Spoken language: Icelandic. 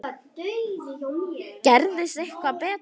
Gerist ekki betra!